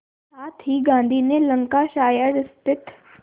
साथ ही गांधी ने लंकाशायर स्थित